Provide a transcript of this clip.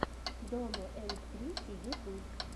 домо энд крисси ютуб